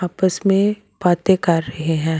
आपस में बातें कर रहे हैं।